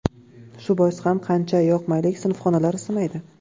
Shu bois ham qancha yoqmaylik, sinfxonalar isimaydi”.